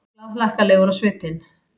Glaðhlakkalegur á svipinn.